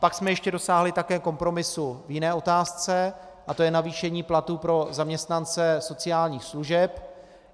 Pak jsme ještě dosáhli také kompromisu v jiné otázce a to je navýšení platů pro zaměstnance sociálních služeb.